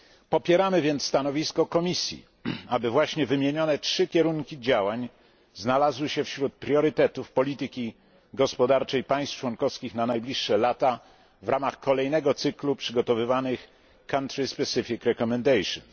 Popieramy więc stanowisko Komisji, aby właśnie wymienione 3 kierunki działań znalazły się wśród priorytetów polityki gospodarczej państw członkowskich na najbliższe lata w ramach kolejnego cyklu przygotowywanych country specific recommendations